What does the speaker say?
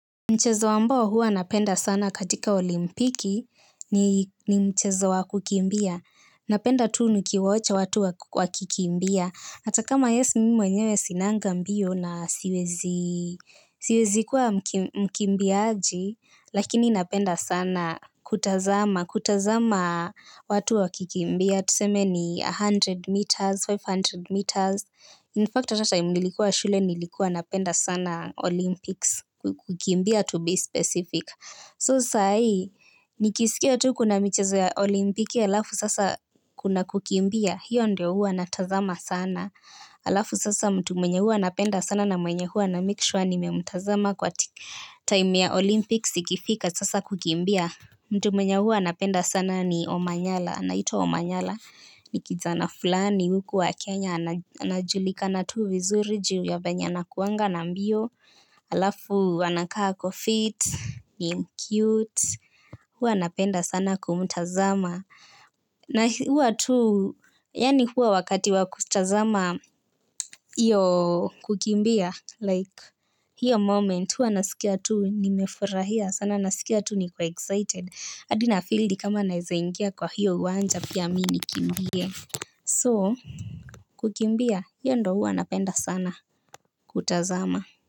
Mchezo ambao hua napenda sana katika olimpiki ni mchezo wa kukimbia. Napenda tu nikiwatch watu wa wakikimbia. Ata kama yes, mimi mwenyewe sinanga mbio na siwezi kuwa mkimbiaji, lakini napenda sana kutazama, kutazama watu wakikimbia. Tuseme ni mia moja meters, mia tano meters. In fact, ata time nilikuwa shule nilikuwa napenda sana Olympics kukimbia to be specific. So saa ii, nikisikia tu kuna michezo ya olimpiki, alafu sasa kuna kukimbia, hiyo ndio hua natazama sana. Alafu sasa mtu mwenye hua napenda sana na mwenye hua namake sure nimemtazama kwa time ya Olympics ikifika sasa kukimbia. Mtu mwenye hua napenda sana ni Omanyala, anaitwa Omanyala, ni kijana fulani, huku wa Kenya, anajulikana tu vizuri, juu ya venye anakuanga na mbio, alafu anakaa ako fit, ni mcute, hua napenda sana kumtazama. Na huwa tu, yaani huwa wakati wa kutazama iyo kukimbia Like, hiyo moment huwa nasikia tu nimefurahia. Sana nasikia tu niko excited. Adi nafeel ni kama naeza ingia kwa hiyo uwanja pia mi nikimbie So, kukimbia, hiyo ndo huwa napenda sana kutazama.